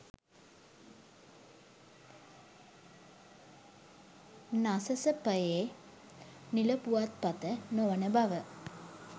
නසසපයේ නිල පුවත්පත නොවන බව